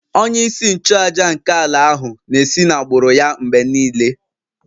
Onye-isi-nchu-àjà nke ala ahu na-esi n'agbụrụ ya mgbe nile